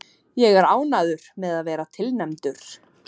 Ég er ánægður með að vera tilnefndur.